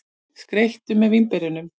Skreyttu með vínberjunum.